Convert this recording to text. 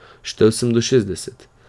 Štel sem do šestdeset.